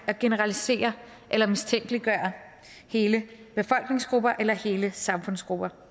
at generalisere eller mistænkeliggøre hele befolkningsgrupper eller hele samfundsgrupper